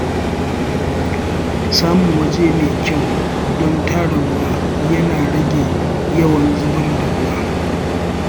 Samun waje mai kyau don tara ruwa yana rage yawan zubar da ruwa.